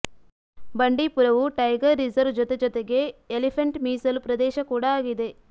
ಬಂಡೀಪುರವು tiger reserve ಜೊತೆ ಜೊತೆಗೆ elephant ಮೀಸಲು ಪ್ರದೇಶ ಕೂಡ ಆಗಿದೆ